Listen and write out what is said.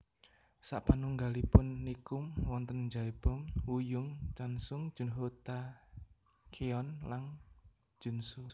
Sapanunggalipun Nichkhun wonten Jaebom Wooyoung Chansung Junho Tacyeon lan JunSu